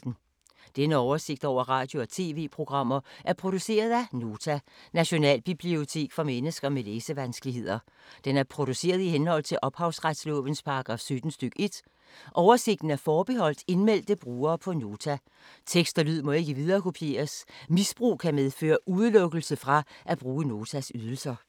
Denne oversigt over radio og TV-programmer er produceret af Nota, Nationalbibliotek for mennesker med læsevanskeligheder. Den er produceret i henhold til ophavsretslovens paragraf 17 stk. 1. Oversigten er forbeholdt indmeldte brugere på Nota. Tekst og lyd må ikke viderekopieres. Misbrug kan medføre udelukkelse fra at bruge Notas ydelser.